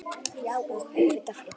Já og auðvitað yddari